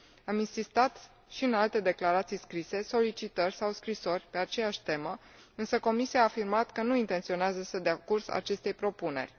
Am insistat și în alte declarații scrise, solicitări sau scrisori pe aceeași temă, însă Comisia a afirmat că nu intenționează să dea curs acestei propuneri.